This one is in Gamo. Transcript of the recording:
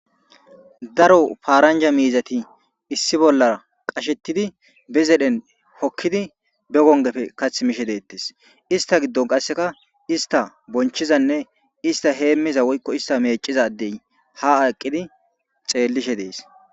daro paaranja miizati issi bollar qashettidi be zedhen hokkidi be gongefe kath mishe deettes ista giddon qasseka ista bonchizanne ista heemmiza woykko ista meecizadey ha aqqidi xeellishe dees